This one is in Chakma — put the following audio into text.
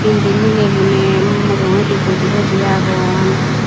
indi mileygune mujungedi boji boji agon.